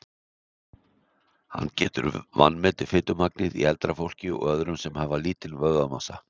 hann getur vanmetið fitumagnið í eldra fólki og öðrum sem hafa lítinn vöðvamassa